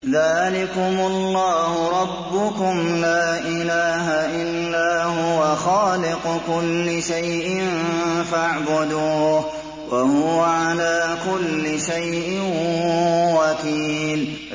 ذَٰلِكُمُ اللَّهُ رَبُّكُمْ ۖ لَا إِلَٰهَ إِلَّا هُوَ ۖ خَالِقُ كُلِّ شَيْءٍ فَاعْبُدُوهُ ۚ وَهُوَ عَلَىٰ كُلِّ شَيْءٍ وَكِيلٌ